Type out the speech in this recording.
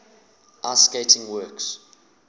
ice skating works